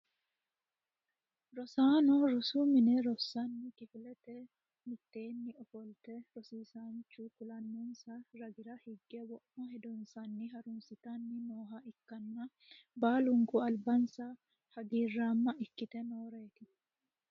Rosaano rosu mine rossanno kifilera mitteenni ofolte rosiisaanchu kulannonsa ragira hige wo'ma hedonsanni harunsitanni nooha ikkaanna baalunku albansa hagiiraamma ikkite nooreeti.